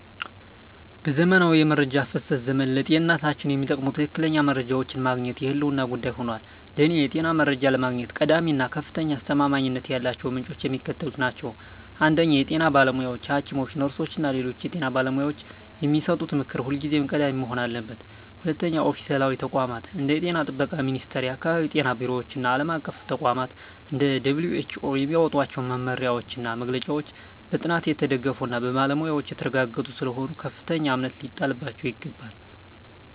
በዘመናዊው የመረጃ ፍሰት ዘመን፣ ለጤንነታችን የሚጠቅሙ ትክክለኛ መረጃዎችን ማግኘት የህልውና ጉዳይ ሆኗል። ለእኔ የጤና መረጃ ለማግኘት ቀዳሚ እና ከፍተኛ አስተማማኝነት ያላቸው ምንጮች የሚከተሉት ናቸው 1) የጤና ባለሙያዎች: ሐኪሞች፣ ነርሶች እና ሌሎች የጤና ባለሙያዎች የሚሰጡት ምክር ሁልጊዜም ቀዳሚ መሆን አለበት። 2)ኦፊሴላዊ ተቋማት: እንደ የጤና ጥበቃ ሚኒስቴር፣ የአካባቢ ጤና ቢሮዎች እና ዓለም አቀፍ ተቋማት (እንደ WHO) የሚያወጧቸው መመሪያዎችና መግለጫዎች በጥናት የተደገፉና በባለሙያዎች የተረጋገጡ ስለሆኑ ከፍተኛ እምነት ሊጣልባቸው ይገባል።